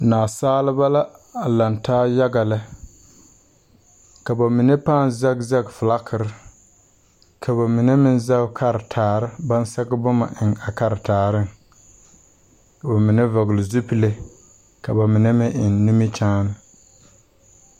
Naasaalba la a laŋ taa yaga lɛ, ka ba mine paa zaŋ zaŋ fiilakere ka ba mine meŋ zaŋ karetaare ba naŋ sɛge boma eŋ a karetaare, ka ba mine vɔgle zupele ka ba mine meŋ eŋ nimikyaane.